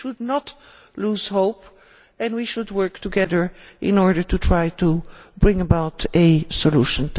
We should not lose hope and we should work together in order to try to bring about a solution.